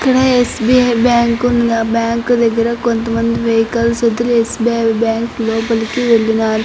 ఇక్కడ SBI bank ఉందా bank దగ్గర కొంతమంది వెహికల్స్ వదిలేసే బ్యాంకు లోపలికి వెళ్ళినారు.